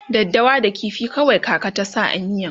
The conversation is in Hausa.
daddawa da ƙifi kawai kaka ta sa a miyan